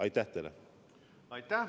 Aitäh!